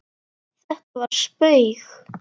Þetta var spaug